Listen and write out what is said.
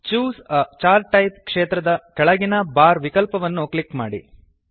choose a chart type ಕ್ಷೇತ್ರದ ಕೆಳಗಿನ bar ವಿಕಲ್ಪವನ್ನು ಕ್ಲಿಕ್ ಮಾಡಿ